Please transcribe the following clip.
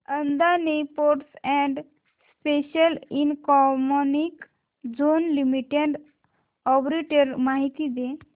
Adani ports and special economic zone limited arbitrage माहिती दे